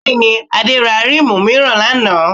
Bẹ́ẹ̀ni, Adé ra ríìmù mìíràn lánàá